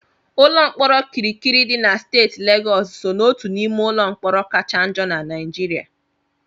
Ụlọ mkpọrọ Kirikiri dị na steeti Legọọsụ so n'otu n'ime ụlọ mkpọrọ kacha njọ na Naịjirịa.